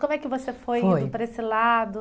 Como é que você foi indo para esse lado?